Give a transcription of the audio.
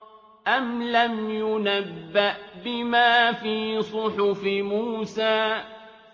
أَمْ لَمْ يُنَبَّأْ بِمَا فِي صُحُفِ مُوسَىٰ